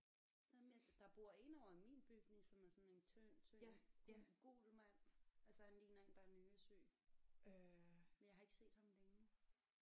Nej men der bor en ovre i min bygning som er sådan en tynd tynd gul gul mand altså han ligner en der er nyresyg men jeg ikke set ham længe